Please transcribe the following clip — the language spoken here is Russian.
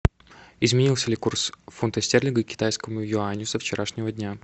изменился ли курс фунта стерлинга к китайскому юаню со вчерашнего дня